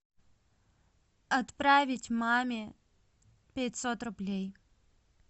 отправить маме пятьсот рублей